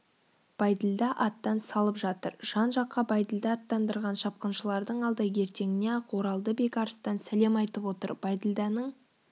бәйділда аттан салып жатыр жан-жаққа бәйділда аттандырған шапқыншылардың алды ертеңіне-ақ оралды бекарыстан сәлем айтып отыр бәйділданың